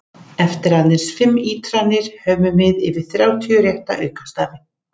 Eftir aðeins fimm ítranir höfum við yfir þrjátíu rétta aukastafi!